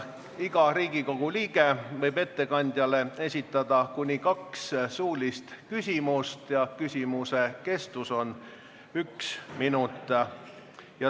Iga Riigikogu liige võib ettekandjale esitada kuni kaks suulist küsimust ja küsimuse kestus on üks minut.